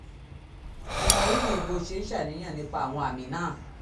mo mọrírì bí o ṣe ń ṣàníyàn nípa àwọn àmì náà